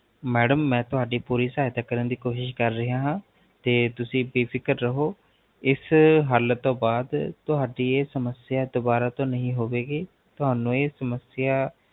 Madam ਮੈਂ ਤੁਹਾਡੀ ਸਹਾਇਤਾ ਕਰਨ ਦੀ ਕੋਸ਼ਿਸ਼ ਹੀ ਕਰ ਰਿਹਾ ਹਾਂ ਤੇ ਤੁਸੀਂ ਬੇਫਿਕਰ ਰਹੋ ਇਸ ਹਲ ਤੋਂ ਬਾਧ ਤੁਹਾਡੀ ਇਹ ਸਮਸਿਆ ਦੁਬਾਰਾ ਤੋਂ ਨਹੀਂ ਹੋਵੇਗੀ ਤੁਹਾਨੂੰ ਏਹ ਸਮਸਿਆ